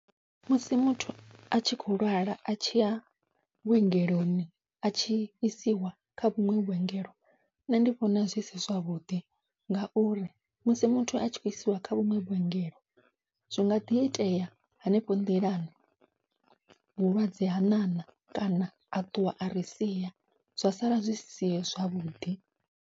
Musi muthu atshi kho lwala atshi ya vhuongeloni atshi isiwa kha vhuṅwe vhuongelo nṋe ndi vhona zwi si zwavhuḓi, ngauri musi muthu atshi kho isiwa kha vhuṅwe vhuongelo zwinga ḓi itea hanefho nḓilani vhulwadze ha ṋaṋa kana a ṱuwa ari sia zwa sala zwisi zwavhuḓi.